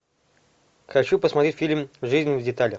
хочу посмотреть фильм жизнь в деталях